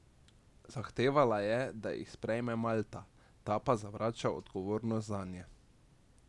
Zahtevala je, da jih sprejme Malta, ta pa zavrača odgovornost zanje.